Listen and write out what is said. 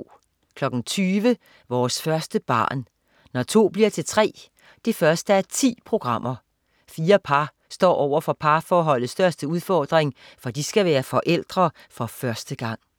20.00 Vores første barn. Når to bliver til tre 1:10. Fire par står over for parforholdets største udfordring, for de skal være forældre for første gang